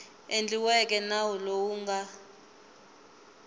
endliweke nawu lowu wu nga